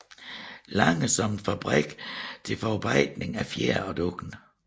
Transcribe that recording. Lange som en fabrik til forarbejdning af fjer og dun